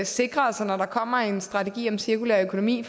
sikre os at når der kommer en strategi om cirkulær økonomi i